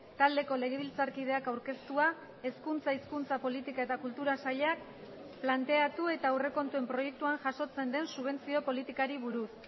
taldeko legebiltzarkideak aurkeztua hezkuntza hizkuntza politika eta kultura sailak planteatu eta aurrekontuen proiektuan jasotzen den subentzio politikari buruz